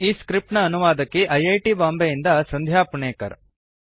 ಈ ಸ್ಕ್ರಿಪ್ಟ್ ನ ಅನುವಾದಕಿ ಐ ಐ ಟಿ ಬಾಂಬೆಯಿಂದ ಸಂಧ್ಯಾ ಪುಣೇಕರ್